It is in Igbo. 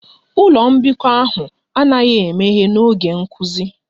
Ụlọ mbikọ ahụ anaghị emeghe n'oge nkuzi